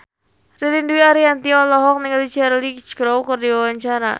Ririn Dwi Ariyanti olohok ningali Cheryl Crow keur diwawancara